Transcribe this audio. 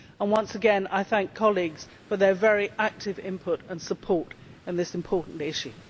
Once again, I thank colleagues for their very active input and support in this important issue.